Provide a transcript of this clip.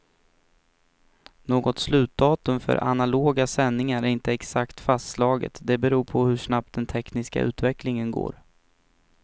Något slutdatum för analoga sändningar är inte exakt fastslaget, det beror på hur snabbt den tekniska utvecklingen går.